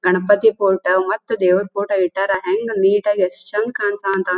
Ganapati photo ಮತ್ತೆ ದೇವರು photo ಇಟ್ಟಾರ ಹೆಂಗ್ ನೀಟ್ ಆಗಿ ಎಷ್ಟು ಚಂದ್ ಕಾಣಸ--